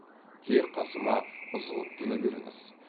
тек қасыма ызғұттыны беріңіз